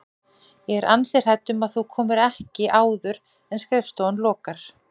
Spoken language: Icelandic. Ég er ansi hrædd um að þú komir ekki áður en skrifstofan lokar